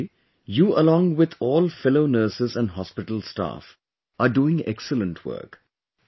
Surekha ji...You along with all fellow nurses and hospital staff are doing excellent work